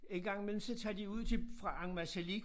En gang imellem så tager de ud til fra Ammassalik